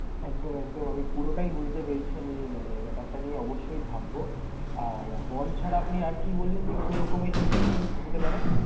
একদম একদম! আমি পুরোটাই বুঝতে পেরেছি। আমি মানে ব্যাপারটা নিয়ে অবশ্যই ভাববো। আর bond ছাড়া আপনি আর কি বললেন যে কি রকম investment হতে পারে?